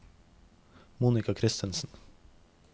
Monica Christiansen